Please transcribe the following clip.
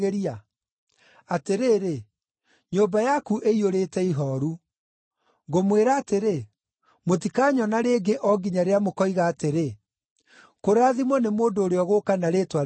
Atĩrĩrĩ, nyũmba yaku ĩiyũrĩte ihooru. Ngũmwĩra atĩrĩ, mũtikanyona rĩngĩ o nginya rĩrĩa mũkoiga atĩrĩ, ‘Kũrathimwo nĩ mũndũ ũrĩa ũgũũka na rĩĩtwa rĩa Mwathani.’ ”